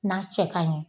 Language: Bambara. N'a cɛ kaɲi